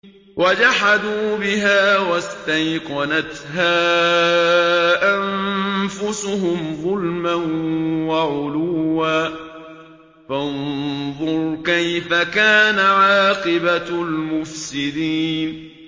وَجَحَدُوا بِهَا وَاسْتَيْقَنَتْهَا أَنفُسُهُمْ ظُلْمًا وَعُلُوًّا ۚ فَانظُرْ كَيْفَ كَانَ عَاقِبَةُ الْمُفْسِدِينَ